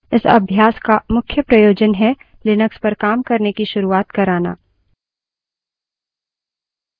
इस अभ्यास का मुख्य प्रयोजन है लिनक्स पर काम करने की शुरुआत कराना